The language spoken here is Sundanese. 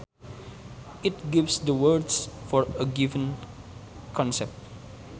It gives the words for a given concept